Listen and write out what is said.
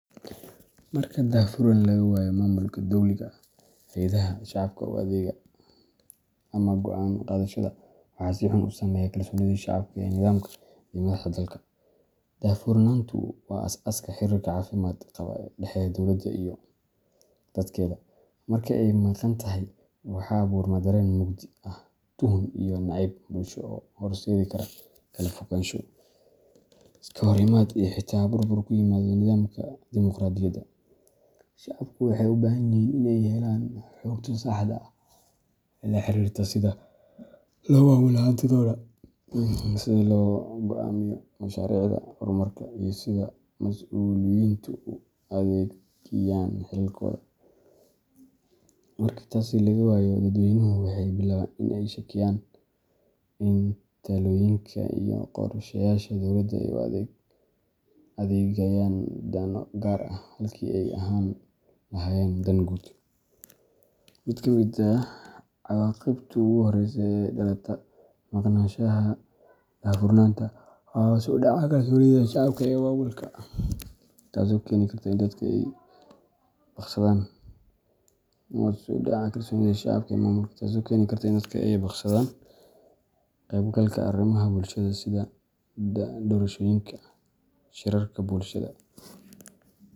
Marka daahfurnaan laga waayo maamulka dowliga ah, hay’adaha shacabka u adeega, ama go’aan qaadashada, waxaa si xun u saameeya kalsoonida shacabka ee nidaamka iyo madaxda dalka. Daahfurnaantu waa aasaaska xiriirka caafimaad qaba ee u dhexeeya dowladda iyo dadkeeda; marka ay maqan tahay, waxaa abuurma dareen mugdi ah, tuhun, iyo nacayb bulsho oo horseedi kara kala fogaansho, iska horimaad, iyo xitaa burbur ku yimaada nidaamka dimuqraadiyada. Shacabku waxay u baahan yihiin in ay helaan xogta saxda ah ee la xiriirta sida loo maamulo hantidooda, sida loo go’aamiyo mashaariicda horumarka, iyo sida masuuliyiintu u adeegayaan xilalkooda. Marka taasi laga waayo, dadweynuhu waxay bilaabaan in ay shakiyayaan in talooyinka iyo qorsheyaasha dowladda ay u adeegayaan dano gaar ah halkii ay ka ahaan lahaayeen dan guud. Mid ka mid ah cawaaqibta ugu horreysa ee ka dhalata maqnaanshaha daahfurnaanta waa hoos u dhaca kalsoonida shacabka ee maamulka, taasoo keeni karta in dadka ay ka baaqsadaan ka qeybgalka arrimaha bulshadooda sida doorashooyinka, shirarka bulshada